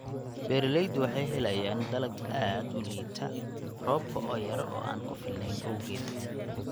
Beeraleydu waxay helayaan dalag aad u liita roobka oo yar oo aan ku filnayn awgeed.